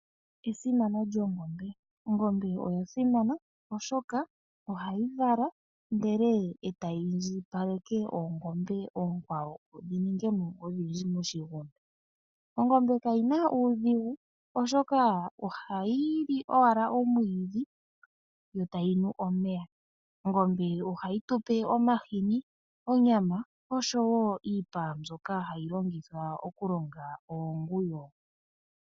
Oongombe oyasimana oshoka ohayi vala ndele etayi indjipaleke oongombe oonkwawo dhi ningemo odhindji moshigunda. Ongombe kayina uudhigu oshoka ohayi li owala omwiidhi yo tayi nu omeya. Ohayi tupe omahini, onyama oshowo iipa mbyoka hayi longithwa okulonga oonguwo.